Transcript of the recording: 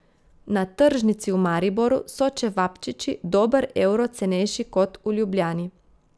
Na tržnici v Mariboru so čevapčiči dober evro cenejši kot v Ljubljani.